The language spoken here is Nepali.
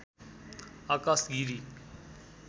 आकाश गिरी